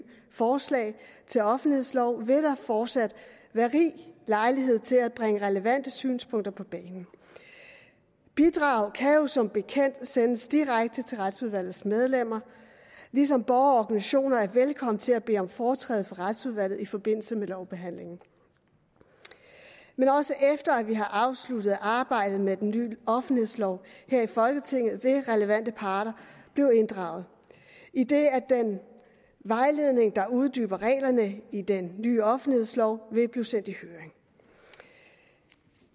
forslag til offentlighedslov vil der fortsat være rig lejlighed til at bringe relevante synspunkter på banen bidrag kan som bekendt sendes direkte til retsudvalgets medlemmer ligesom borgere og organisationer er velkomne til at bede om foretræde for retsudvalget i forbindelse med lovbehandlingen men også efter at vi har afsluttet arbejdet med den nye offentlighedslov her i folketinget vil relevante parter blive inddraget idet at den vejledning der uddyber reglerne i den nye offentlighedslov vil blive sendt i høring